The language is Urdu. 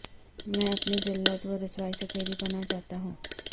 میں اپنی ذلت و رسوائی سے تیری پناہ چاہتا ہوں